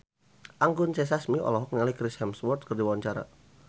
Anggun C. Sasmi olohok ningali Chris Hemsworth keur diwawancara